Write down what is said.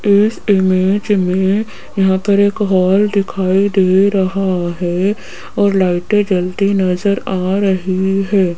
इस इमेज मे यहां पर एक हॉल दिखाई दे रहा है और लाइटें जलती नजर आ रही है।